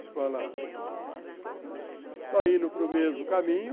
Estou indo para o mesmo caminho.